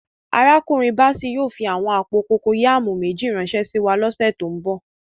Arákùnrin Bàssèy yóò fí àwọn àpò kòkọyàmù méjì ránsẹ síwa lọ̀ṣẹ̀ tó nbọ̀.